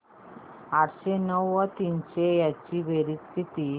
आठशे नऊ व तीनशे यांची बेरीज किती